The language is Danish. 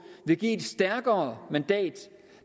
et stærkere mandat